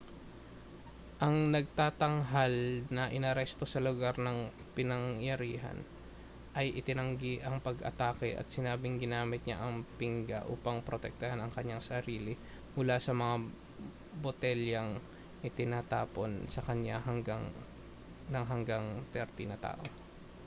ang nagtatanghal na inaresto sa lugar ng pinangyarihan ay itinanggi ang pag-atake at sinabing ginamit niya ang pingga upang protektahan ang kaniyang sarili mula sa mga botelyang itinatapon sa kaniya ng hanggang 30 tao